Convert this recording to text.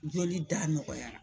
Joli da nɔgɔyara